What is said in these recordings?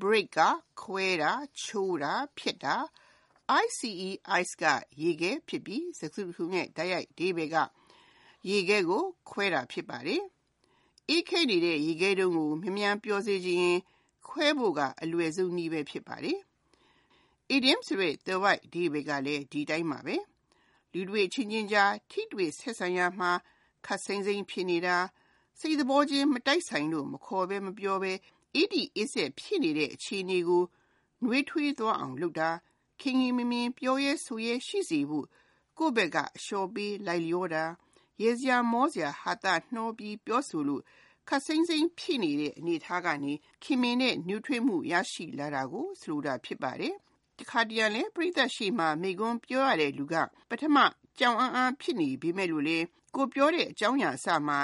Break (ခွဲတာ၊ ချိုးတာ၊ ဖျက်တာ)၊ the ice ဖြစ်ပြီး စကားစုတခုလုံးရဲ့ တိုက်ရိုက်အဓိပ္ပါယ်က ရေခဲကို ခွဲတာ ဖြစ်ပါတယ်။ အေးခဲနေတဲ့ ရေခဲတုံးကို အမြန်ပျော်စေချင်ရင်အလွယ်ဆုံးနည်း ကခွဲဖို့ဘဲ ဖြစ်ပါတယ်။ အီဒီယံသွယ်ဝိုက်အဓိပ္ပါယ်ကလူတွေအချင်းချင်းကြားထိတွေ့ဆက်ဆံရာမှာ အစပိုင်းမှာ ခပ်စိမ်းစိမ်းဖြစ်နေတာ၊ စိတ်သဘောချင်း မတိုက်ဆိုင်လို့ မခေါ်မပြောဘဲ၊ အေးတိအေးစက် ဖြစ်နေတဲ့ အခြေအနေကို နွေးထွေးသွားအောင်လုပ်တာ၊ခင်ခင်မင်မင်နှင့် ပြောရဲဆိုရဲ ရှိစေဖို့ ကိုယ့်ဖက်က အလျှော့ပေး လိုက်လျောတာ၊ ရယ်စရာမောစာ ဟာသနှောပြီး ပြောဆိုလို့ ခပ်စိမ်းစိမ်း ဖြစ်နေတဲ့ အနေအထားကနေ ခင်မင်တဲ့ နွေးထွေးမှု ရရှိလာတာကို ဆိုလိုတာ ဖြစ်ပါတယ်။ တခါတရံလဲ ပရိသတ်ရှေ့မှာ မိန့်ခွန်းပြောရတဲ့လူက ပထမ ကြောင်အန်းအန်း ဖြစ်နေပေမယ့်၊ ကိုယ်ပြောတဲ့ အကြောင်းအရာအစမှာ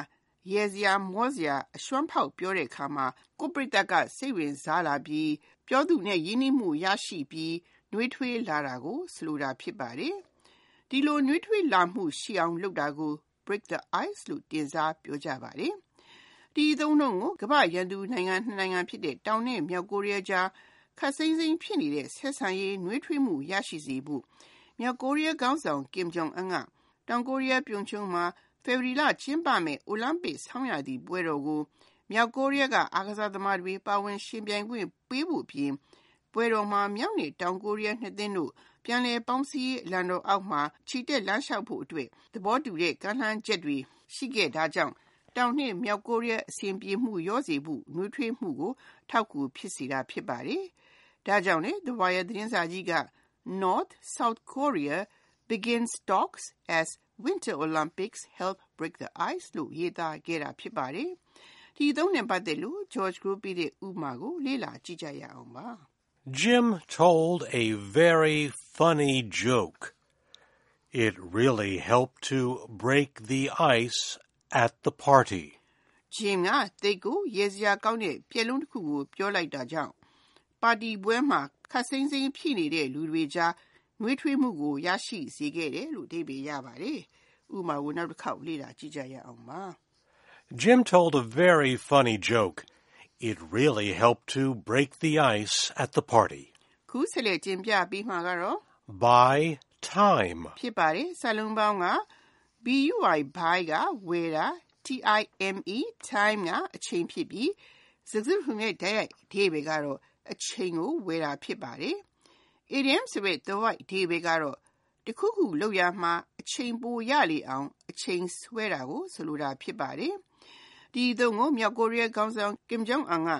ရယ်စရာမောစရာ အရွှန်းဖောက် ပြောတဲ့အခါမှာ ကိုယ့်ပရိသတ်က စိတ်ဝင်စားလာပြီး ပြောသူနဲ့ ရင်းနှီးမှုရရှိပြီး နွေးထွေးလာတာအောင်လုပ်တာကိုလဲ Break the ice လို့ တင်စားပြောကြပါတယ်။ ဒီအသုံးကို ကမ္ဘာ့ရန် နှစ်နိုင်ငံဖြစ်တဲ့ တောင် နဲ့ မြောက်ကိုရီးယားကြား ခပ်စိမ်းစိမ်း ဖြစ်နေတဲ့ ဆက်ဆံရေး နွေးထွေးမှု ရရှိစေဖို့ မြောက်ကိုရီးယားခေါင်းဆောင် Kim Jong-un က တောင်ကိုရီးယား Pyeongchang မှာ ဖေဖေါ်ဝါရီလမှာ ကျင်းပမယ့် ဆောင်းရာသီအိုလံပစ်ပွဲတော် မှာ မြောက်ကိုရီးယားအားကစားသမားတွေ ပါဝင်ယှဉ်ပြိုင်ခွင့် ပေးမဲ့အပြင် ပွဲတော်မှာ မြောက်နဲ့တောင်ကိုရီးယားနှစ်သင်းတို့ ပြန်လည်ပေါင်းစည်းရေး အလံတော်အောက်မှာ ချီတက်လမ်းလျှောက်ဖို့အတွက် သဘောတူညီတဲ့ ကမ်းလှမ်းချက်တွေ ရှိခဲ့တာကြောင့် တောင်နဲ့မြောက်ကိုရီးယား အဆင်မပြေမှု လျော့စေပြီး နွေးထွေးမှုကို အထောက်အကူဖြစ်စေခဲ့ပါတယ်။ ဒါကြောင့်လဲ ရိုက်တာသတင်းတပုဒ်မှာ North, South Korea begin talks as Winter Olympics help break ice လို့ ခေါင်းကြီးရေးသားခဲ့တာ ဖြစ်ပါတယ်။ ဒီအသုံးနဲ့ပတ်သက်တဲ့ ဥပမာကို လေ့လာကြည့်ရအောင်ပါ။ Jim told a very funny joke. It really helped to break the ice at the party. Jim က သိပ်ကိုရယ်စရာကောင်းတဲ့ ပျက်လုံးတခုကို ပြောလိုက်တာကြောင့် ပါတီပွဲမှာ ခပ်စိမ်းစိမ်းဖြစ်နေတဲ့ လူတွေကြား နွေးထွေးမှုကို ရရှိစေခဲ့တယ်။ Buy time Buy ၊ time ဖြစ်ပြီး စကားစုတခုလုံးရဲ့ တိုက်ရိုက်အဓိပ္ပါယ်က အချိန်ကိုဝယ်တာ ဖြစ်ပါတယ်။ အီဒီယံသွယ်ဝိုက်အဓိပ္ပါယ်ကတခုခု လုပ်တဲ့အခါမှာ အချိန်ပိုရလေအောင် အချိန်ဆွဲတာ ဖြစ်ပါတယ်။ ဒီအသုံးကို မြောက်ကိုရီးယားခေါင်းဆောင် Kim Jong-un က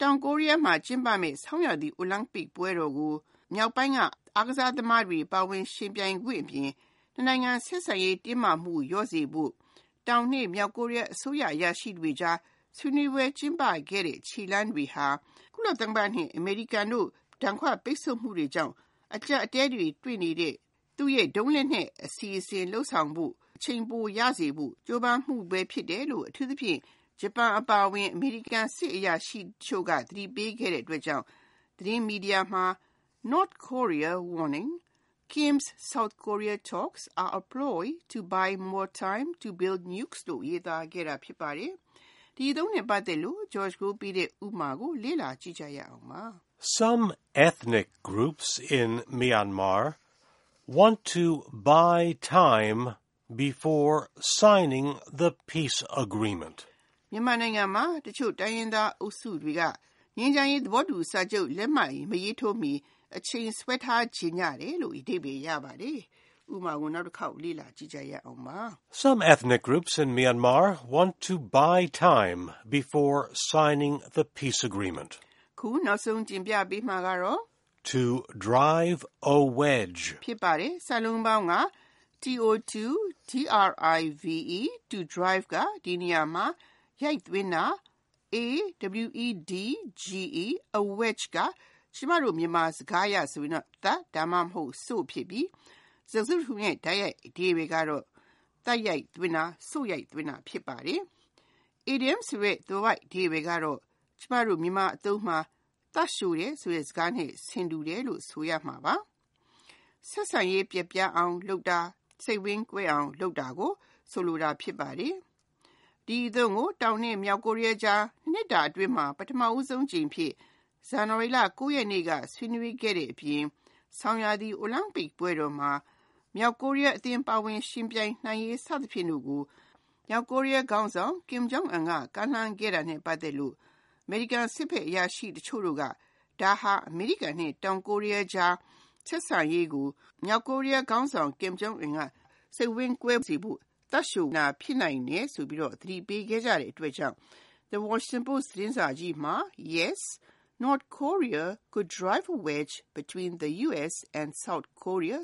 တောင်ကိုရီးယားမှာ ကျင်းပမယ့် ဆောင်းရာသီအိုလံပစ်ပွဲတော်ကို မြောက်ပိုင်းက အားကစားသမားတွေ ပါဝင်ယှဉ်ပြိုင်ခွင့်ပေးမဲ့အပြင် နှစ်နိုင်ငံဆက်ဆံရေး တင်းမာမှု လျော့စေဖို့ တောင်နဲ့မြောက် အစိုးရအရာရှိတွေကြား ဆွေးနွေးပွဲ ကျင်းပခဲ့တဲ့အတွက်ဒီခြေလှမ်းတွေဟာ ကုလသမဂ္ဂနဲ့ အမေရိကန်တို့ ဒဏ်ခတ်ပိတ်ဆို့မှုတွေကြောင့် အကျပ်အတည်းဖြစ်နေတဲ့ သူ့ရဲ့ ဒုံးလက်နက် အစီအစဉ်လုပ်ဆောင်ရာမှာ အချိန်ပိုရစေဖို့ မြောက်ကိုရီးယားခေါင်းဆောင်ရဲ့ ကြိုးပမ်းမှု ဖြစ်တယ်လို့၊ ဂျပန်အပါအဝင် အမေရိကန် စစ်အရာရှိတချို့က သတိပေးခဲ့တဲ့အတွက်ကြောင့် သတင်းမီဒီယာမှာ North Korea WARNING: Kim's South Korea talks are a ploy to 'buy more time' to build nukes လို့ ရေးသားခဲ့တာ ဖြစ်ပါတယ်။ ဒီအသုံးနဲ့ပတ်သက်တဲ့ ဥပမာကို လေ့လာကြည့်ရအောင်ပါ။ Some ethnic groups in Myanmar want to buy time before signing the peace agreement. မြန်မာနိုင်ငံမှာ တချို့တိုင်းရင်းသားအုပ်စုတွေက ငြိမ်းချမ်းရေးသဘောတူစာချုပ် လက်မှတ်မရေးထိုးမီ အချိန်ဆွဲထားချင်ကြတယ်။ To drive a wedge To drive ၊ a wedge သပ် စို့ဖြစ်ပြီး စကားစုတစုလုံးရဲ့ တိုက်ရိုက်အဓိပ္ပါယ်က သပ်ရိုက်သွင်းတာ၊ စို့ရိုက်သွင်းတာ ဖြစ်ပါတယ်။ အီဒီယံသွယ်ဝိုက်အဓိပ္ပါယ်က မြန်မာအသုံးမှာ သပ်လျှိုတယ်ဆိုတဲ့ စကားနဲ့ ဆင်တူတယ်လို့ ဆိုရမှာပါ။ ဆက်ဆံရေး ပျက်ပြားအောင်လုပ်တာ၊ စိတ်ဝမ်းကွဲအောင် လုပ်တာကို ဆိုလိုတာ ဖြစ်ပါတယ်။ ဒီအသုံးကို တောင်နဲ့မြောက်ကိုရီးယားကြား ၂နှစ်တာအတွင်းမှာ ပထမဦးဆုံးအကြိမ်အဖြစ် ဇန်နဝါရီလ ရက်နေ့က ဆွေးနွေးခဲ့တဲ့အပြင် ဆောင်းရာသီအိုလံပစ်ပွဲတော်မှာ မြောက်ကိုရီးယားအသင်း ပါဝင်ယှဉ်ပြိုင်နိုင်ရေး စသဖြင့်ကိုမြောက်ကိုရီးယားခေါင်းဆောင် က ကမ်းလှမ်းခဲ့တာနဲ့ ပတ်သက်လို့ အမေရိကန်စစ်ဘက်အရာရှိတချို့တို့က ဒါဟာ အမေရိကန်နဲ့ တောင်ကိုရီးယားကြားစိတ်ဝမ်းကွဲစေဖို့ မြောက်ကိုရီးယားခေါင်းဆောင်က သပ်လျှိုတာ ဖြစ်နိုင်တယ်ဆိုပြီးတော့ သတိပေးခဲ့ကြတဲ့အတွက်ကြောင့် Washington Post သတင်းစာကြီးမှာ Yes, North Korea could drive wedge between the US and South Korea